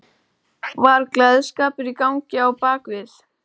Var gleðskapur í gangi á bak við?